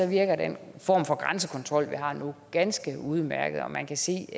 virker den form for grænsekontrol vi har nu ganske udmærket og man kan se